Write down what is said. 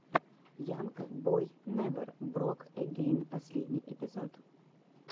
янг бой невер брок эгейн последний эпизод